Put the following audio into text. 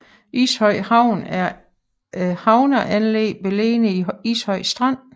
Ishøj havn er et havneanlæg beliggende i Ishøj Strand